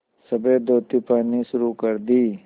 सफ़ेद धोती पहननी शुरू कर दी